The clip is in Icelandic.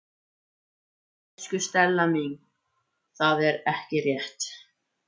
Elsku Stella mín, það er ekki rétt.